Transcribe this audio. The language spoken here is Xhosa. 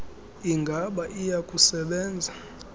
ingaba iya kusebenza